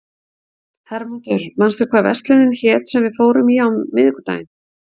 Hermundur, manstu hvað verslunin hét sem við fórum í á miðvikudaginn?